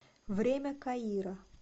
время каира